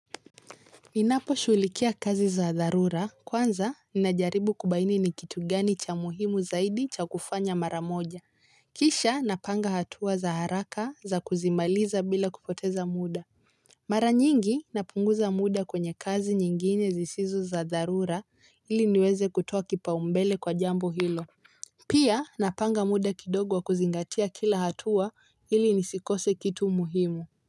Ninaposhughulikia kazi za dharura kwanza ninajaribu kubaini ni kitu gani cha muhimu zaidi cha kufanya mara moja, kisha napanga hatua za haraka za kuzimaliza bila kupoteza muda. Mara nyingi napunguza muda kwenye kazi nyingine zisizo za dharura ili niweze kutoa kipaumbele kwa jambo hilo. Pia napanga muda kidogo wa kuzingatia kila hatua ili nisikose kitu muhimu.